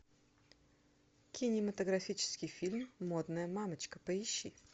кинематографический фильм модная мамочка поищи